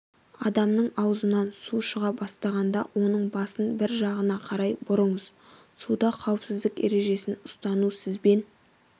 адамның ауызынан су шыға бастағанда оның басын бір жағына қарай бұрыңыз суда қауіпсіздік ережесін ұстану сізбен